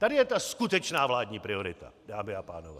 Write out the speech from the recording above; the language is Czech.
Tady je ta skutečná vládní priorita, dámy a pánové!